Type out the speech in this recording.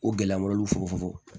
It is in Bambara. O gɛlɛya malo fogofogon